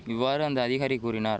இவ்வாறு அந்த அதிகாரி கூறினார்